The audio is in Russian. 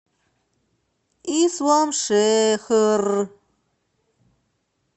исламшехр